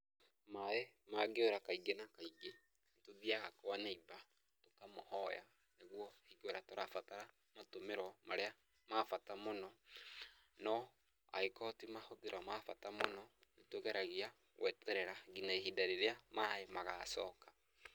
Maaĩ mangĩũra, kaingĩ na kaingĩ, tũthiaga kwa naiba kũmũhoya, nĩguo hingo ĩrĩa tũrabatara matũmĩro marĩa ma bata mũno, no angĩkorwo ti mahũthĩro ma bata mũno, nĩ tũgeragia gweterera nginya ihinda rĩrĩa maaĩ magacoka.